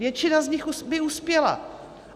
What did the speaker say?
Většina z nich by uspěla.